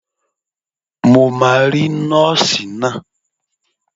Mo máa rí Nọ́ọ̀sì náà.